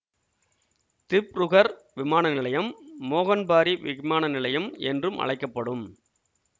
திப்ருகர் விமான நிலையம் மோகன்பாரி விமான நிலையம் என்றும் அழைக்க படும்